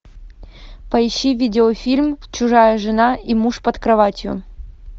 поищи видеофильм чужая жена и муж под кроватью